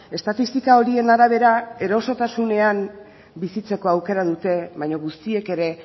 estatistika horien arabera erosotasunean bizitzeko aukera dute baina guztiek ere